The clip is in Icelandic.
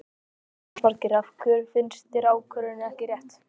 Jónas Margeir: Af hverju finnst þér ákvörðunin ekki rétt?